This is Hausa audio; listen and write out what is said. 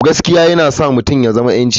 Gaskiya yana sa mutum ya zama 'yanci.